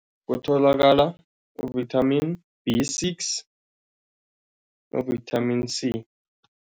Kutholakala u-Vitamin B six no-Vitamin C.